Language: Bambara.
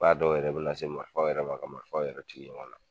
F'a dɔw yɛrɛ bɛ na se marifaw yɛrɛ ma ka marifaw yɛrɛ ci ɲɔgɔn na